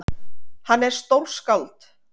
Hann er stórskáld!